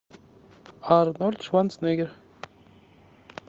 арнольд шварценеггер